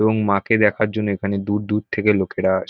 এবং মাকে দেখার জন্য এখানে দূর দূর থেকে লোকেরা আসে।